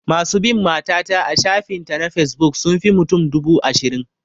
Masu bin mata ta a shafin ta na fesbuk sun fi mutum dubu ashirin